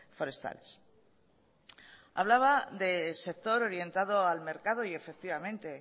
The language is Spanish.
forestales hablaba de sector orientado al mercado y efectivamente